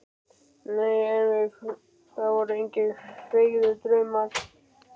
En nei, það voru engir feigðardraumar.